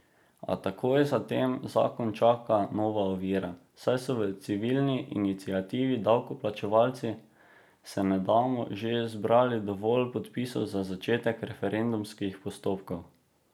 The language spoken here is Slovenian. A takoj zatem zakon čaka nova ovira, saj so v civilni iniciativi Davkoplačevalci se ne damo že zbrali dovolj podpisov za začetek referendumskih postopkov.